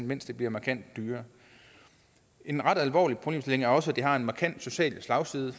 mens det bliver markant dyrere en ret alvorlig problemstilling er også at det har en markant social slagside